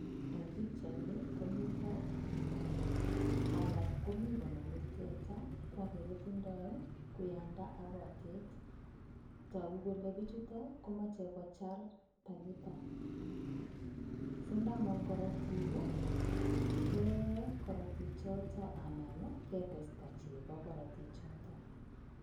Eng pichait ni ko mii piko alak komo konome teta ko age kotindoi kuyanda ak kotet togu kole pichuto komochei kochar tanyita sindamong korotik kee korotichoto anan ketesta chego koroti choto.